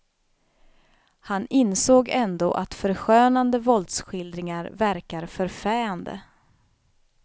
Han insåg ändå att förskönande våldsskildringar verkar förfäande.